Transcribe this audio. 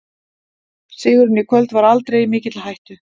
Sigurinn í kvöld var aldrei í mikilli hættu.